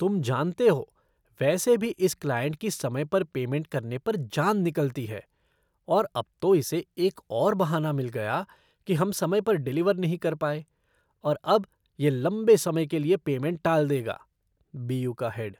तुम जानते हो वैसे भी, इस क्लाइंट की समय पर पेमेंट करने पर जान निकलती है और अब तो इसे एक और बहाना मिल गया कि हम समय पर डिलीवर नहीं कर पाए और अब यह लंबे समय के लिए पेमेंट टाल देगा। बी यू का हेड